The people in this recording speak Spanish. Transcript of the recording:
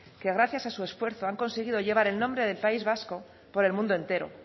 que gracias a su esfuerzo han conseguido llevar el nombre del país vasco por el mundo entero